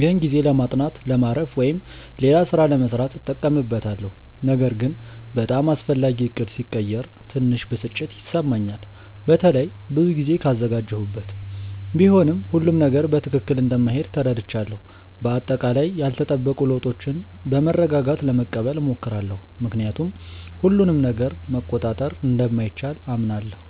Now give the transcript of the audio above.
ይህን ጊዜ ለማጥናት፣ ለማረፍ ወይም ሌላ ሥራ ለመሥራት እጠቀምበታለሁ። ነገር ግን በጣም አስፈላጊ ዕቅድ ሲቀየር ትንሽ ብስጭት ይሰማኛል፣ በተለይ ብዙ ጊዜ ካዘጋጀሁበት። ቢሆንም ሁሉም ነገር በትክክል እንደማይሄድ ተረድቻለሁ። በአጠቃላይ ያልተጠበቁ ለውጦችን በመረጋጋት ለመቀበል እሞክራለሁ፣ ምክንያቱም ሁሉንም ነገር መቆጣጠር እንደማይቻል አምናለሁ።